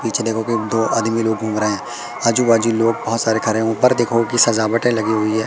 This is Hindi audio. पीछे देखो कि दो आदमी लोग घूम रहे हैं आजू बाजू लोग बहुत सारे खड़े हैं ऊपर देखो कि सजावटें लगी हुई है।